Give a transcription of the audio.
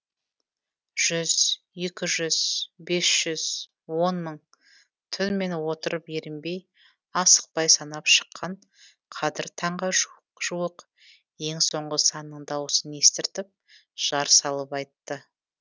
жүз екі жүз бес жүз он мың түнімен отырып ерінбей асықпай санап шыққан қадір таңға жуық ең соңғы санның дауысын естіртіп жар салып айтты